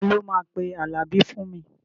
Ta ló máa pe Àlàbí fún mi?